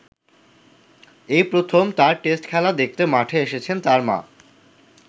এই প্রথম তার টেস্ট খেলা দেখতে মাঠে এসেছেন তাঁর মা।